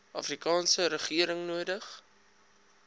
afrikaanse regering nodig